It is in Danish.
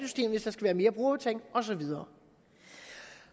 være mere brugerbetaling og så videre